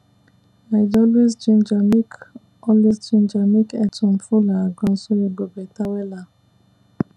i dey always ginger make always ginger make earthworm full our ground so e go better wella